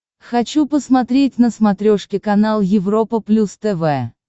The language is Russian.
хочу посмотреть на смотрешке канал европа плюс тв